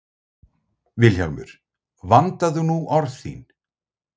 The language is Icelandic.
VILHJÁLMUR: Vandaðu nú orð þín!